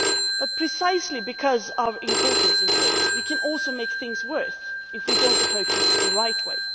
But precisely because of our importance in trade, we can also make things worse if we do not approach it in the right way.